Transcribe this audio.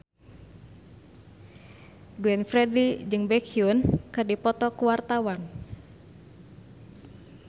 Glenn Fredly jeung Baekhyun keur dipoto ku wartawan